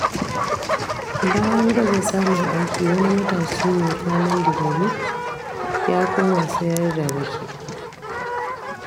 Bayan gaza samun aiki wani matashi mai kwalin digiri, ya koma sayar da rake.